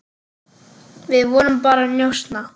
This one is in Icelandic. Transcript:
Við vorum bara að njósna,